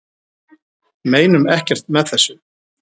Meinum ekkert með þessu